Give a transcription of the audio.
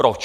Proč?